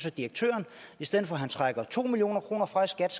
at direktøren i stedet for at trække to million kroner fra skat